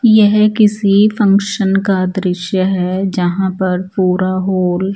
यह किसी फंक्शन का दृश्य है जहाँ पर पूरा हॉल --